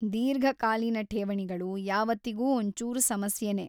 ದೀರ್ಘಕಾಲೀನ ಠೇವಣಿಗಳು ಯಾವತ್ತಿಗೂ ಒಂಚೂರು ಸಮಸ್ಯೆನೇ.